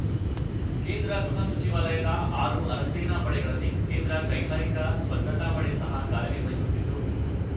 ಕೇಂದ್ರ ಗೃಹ ಸಚಿವಾಲಯದ ಆರು ಅರೆಸೇನಾ ಪಡೆಗಳಲ್ಲಿ ಕೇಂದ್ರ ಕೈಗಾರಿಕಾ ಭದ್ರತಾಪಡೆ ಸಹ ಕಾರ್ಯನಿರ್ವಹಿಸುತ್ತಿದ್ದು